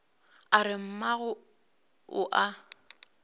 a re mma o a